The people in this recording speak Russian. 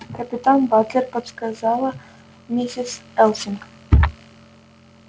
капитан батлер подсказала миссис элсинг